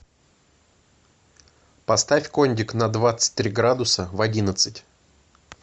поставь кондик на двадцать три градуса в одиннадцать